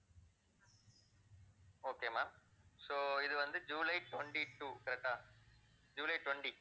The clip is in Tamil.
okay ma'am, so இது வந்து July twenty-two, correct ah July twenty